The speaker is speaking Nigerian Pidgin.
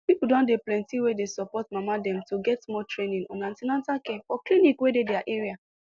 people don dey plenty wey dey support mama dem to get more training on an ten atal care for clinic wey dey their area